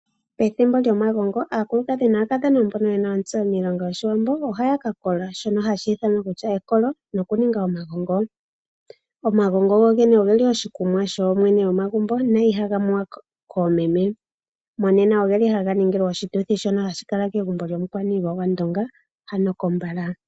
Pethimbo lyomagongo aakadhona naakulukadhi mbono yena otseyo miilongo yoshiwambo ohaka kola shono hashi ithanwa ekolo. Noku ninga omagongo. Omagongo gogene ohelu oshikunwa shooyene yomagumbo no ihaga nuwa koomeme. Monena ogeli haga ningilwa oshituthi shono hashi kala kegumbo lyomukwan8lwa gwandonga. Ano kombala.